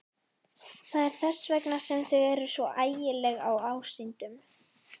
Það er þess vegna sem þau eru svo ægileg ásýndum.